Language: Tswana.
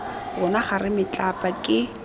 rona ga re metlapa ke